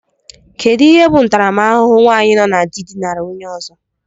Kedụ ihe bụ ntaramahụhụ nwaanyi nọ na dị dinara onye ọzọ?